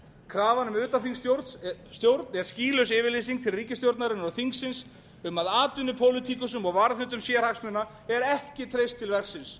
krafan um utanþingsstjórn er skýlaus yfirlýsing til ríkisstjórnarinnar og þingsins um að atvinnupólitíkusum og varðhundum sérhagsmuna er ekki treyst til verksins